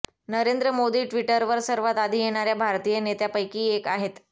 नरेंद्र मोदी ट्विटरवर सर्वात आधी येणाऱ्या भारतीय नेत्यापैकी एक आहेत